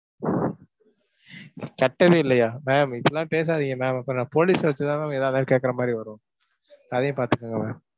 கட்டவே இல்லையா? ma'am இப்படி எல்லாம் பேசாதீங்க ma'am அப்பறம் நான் police station ல தான் ma'am எதாயிருந்தாலும் கேட்கறமாதிரி வரும். அதையும் பார்த்துக்கோங்க ma'am.